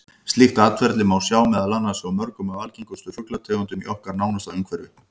Slíkt atferli má sjá meðal annars hjá mörgum af algengustu fuglategundunum í okkar nánasta umhverfi.